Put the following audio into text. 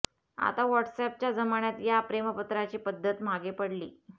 आता व्हॉट्स अॅपच्या जमान्यात या प्रेमपत्राची पद्धत मागे पडली